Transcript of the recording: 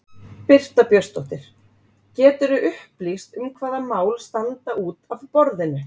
Birta Björnsdóttir: Geturðu upplýst um hvaða mál standa út af borðinu?